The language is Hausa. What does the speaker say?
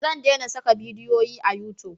Zan dena saka bidiyo a yutub